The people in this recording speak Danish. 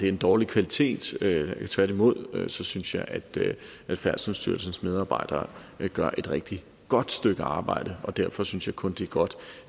en dårlig kvalitet tværtimod synes jeg at færdselsstyrelsens medarbejdere gør et rigtig godt stykke arbejde og derfor synes jeg kun det er godt